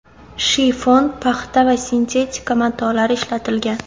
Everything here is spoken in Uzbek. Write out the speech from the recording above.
Shifon, paxta va sintetika matolari ishlatilgan.